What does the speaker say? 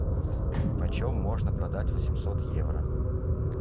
почем можно продать восемьсот евро